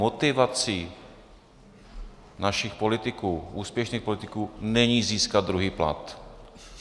Motivací našich politiků, úspěšných politiků, není získat druhý plat.